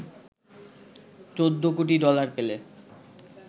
১৪ কোটি ডলার পেলে